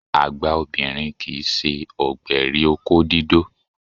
Àgbà obìnrin kì í ṣe ọ̀gbẹ̀rì òkó dídó